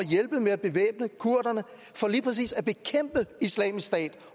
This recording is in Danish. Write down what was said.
at hjælpe med at bevæbne kurderne for lige præcis at bekæmpe islamisk stat